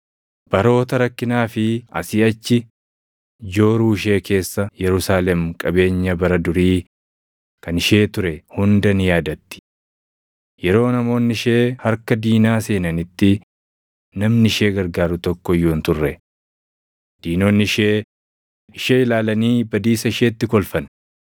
Baroota rakkinaa fi asii achi jooruu ishee keessa Yerusaalem qabeenya bara durii kan ishee ture hunda ni yaadatti. Yeroo namoonni ishee harka diinaa seenanitti namni ishee gargaaru tokko iyyuu hin turre. Diinonni ishee ishee ilaalanii badiisa isheetti kolfan.